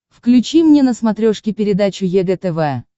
включи мне на смотрешке передачу егэ тв